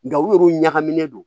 Nga u yɛrɛw ɲagaminnen don